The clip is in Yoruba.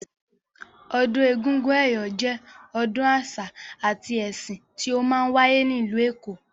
Ọdún egúngún ẹ̀yọ̀ jẹ́ ọdún àṣà àti ẹsìn tí ó máa ń wáyé ní ìlú èkó.